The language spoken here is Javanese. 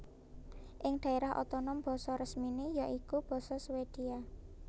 Ing daérah otonom basa resminé ya iku basa Swedia